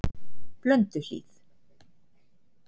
Blönduhlíð